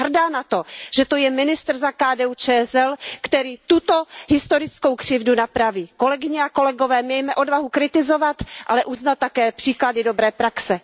Jsem hrdá na to, že to je ministr za KDU ČSL, který tuto historickou křivdu napraví. Kolegyně a kolegové, mějme odvahu kritizovat, ale uznat také příklady dobré praxe.